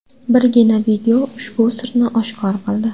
Birgina video ushbu sirni oshkor qildi .